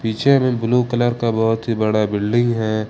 पीछे में blue colour का बहुत ही बड़ा बिल्डिंग है।